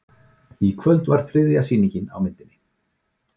Í kvöld var þriðja sýning á myndinni